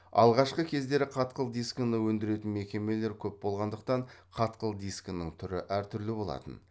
алғашқы кездері қатқыл дискіні өндіретін мекемелер көп болғандықтан қатқыл дискінің түрі әртүрлі болатын